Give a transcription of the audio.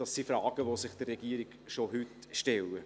Dies sind Fragen, die sich der Regierung schon heute stellen.